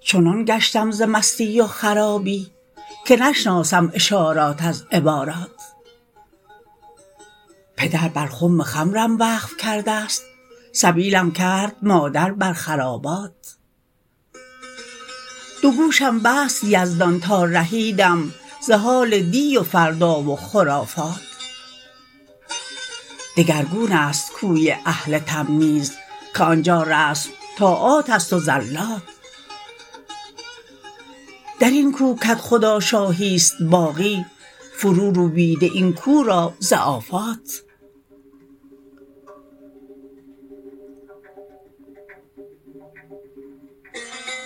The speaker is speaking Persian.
چنان گشتم ز مستی و خرابی که نشناسم اشارات از عبارات پدر بر خم خمرم وقف کردست سبیلم کرد مادر بر خرابات دو گوشم بست یزدان تا رهیدم ز حال دی و فردا و خرافات دگرگون است کوی اهل تمییز که آن جا رسم طاعاتست و زلات در این کو کدخدا شاهی است باقی فرو روبیده این کو را ز آفات